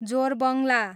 जोरबङ्ला